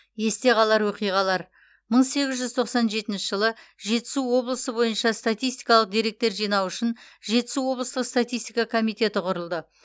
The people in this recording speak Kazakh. есте қалар оқиғалар мың сегіз жүз тоқсан жетінші жылы жетісу облысы бойынша статистикалық деректер жинау үшін жетісу облыстық статистика комитеті құрылды